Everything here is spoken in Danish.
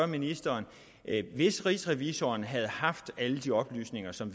ministeren hvis rigsrevisor havde haft alle de oplysninger som